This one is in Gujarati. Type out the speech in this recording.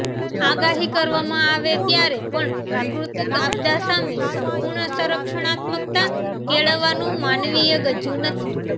આગાહી કરવામાં આવે ત્યારે પણ પ્રાકૃતિક આપદા સામે સમ્પૂર્ણ સંરક્ષણાત્મકતા કેળવવાનું માનવીય ગજુ નથી